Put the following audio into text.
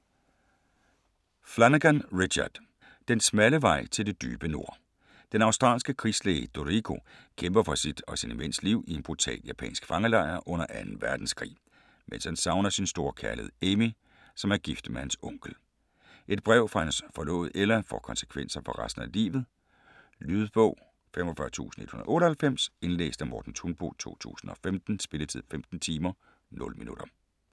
Flanagan, Richard: Den smalle vej til det dybe nord Den australske krigslæge Dorrigo kæmper for sit og sine mænds liv i en brutal japansk fangelejr under 2. verdenskrig, mens han savner sin store kærlighed Amy, som er gift med hans onkel. Et brev fra hans forlovede Ella får konsekvenser for resten af livet. Lydbog 45198 Indlæst af Morten Thunbo, 2015. Spilletid: 15 timer, 0 minutter.